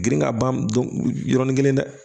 Girin ka ban yɔrɔni kelen dɛ